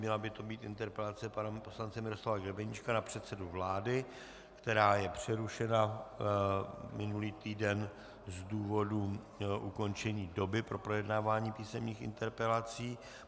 Měla by to být interpelace pana poslance Miroslava Grebeníčka na předsedu vlády, která je přerušena minulý týden z důvodu ukončení doby pro projednávání písemných interpelací.